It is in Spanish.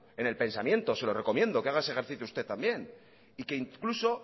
en el pensamiento se lo recomiendo que haga ese ejercicio usted también y que incluso